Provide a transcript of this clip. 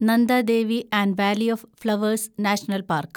Nanda Devi and valley of flowers national park